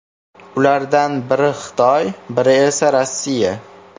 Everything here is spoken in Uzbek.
Ulardan biri Xitoy, biri esa Rossiya.